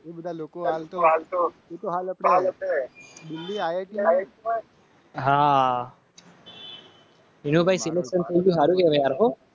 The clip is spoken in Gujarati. હા. વિનુભાઈ સિલ્વસસાથી સારું કરો.